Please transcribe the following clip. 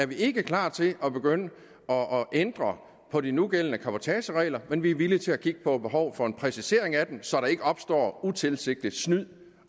vi ikke er klar til at begynde at ændre på de nugældende cabotageregler men vi er villige til at kigge på behovet for en præcisering af dem så der ikke opstår utilsigtet snyd